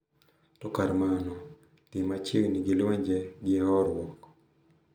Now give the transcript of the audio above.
To kar mano, dhi machiegni gi lwenje gi horuok .